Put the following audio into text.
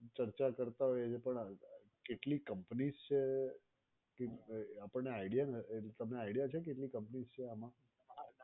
ચર્ચા કરતાં હોઈએ છીએ પણ આ રીતે કેટલીક companies છે કે આપણે idea નથી તમને idea છે કેટલી companies છે આમાં?